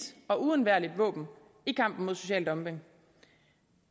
og uundværligt våben i kampen mod social dumping